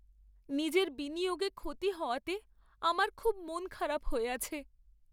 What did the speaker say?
নিজের বিনিয়োগে ক্ষতি হওয়াতে আমার খুব মনখারাপ হয়ে আছে।